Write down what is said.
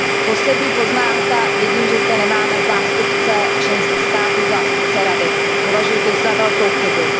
Poslední poznámka, vidím, že zde nemáme zástupce členských států, zástupce Rady, považuji to za velkou chybu.